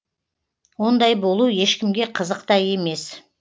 ондай болу ешкімге қызық та емес